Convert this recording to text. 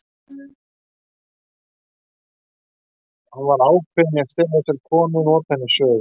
Hann var ákveðinn í að stela þessari konu og nota hana í sögu.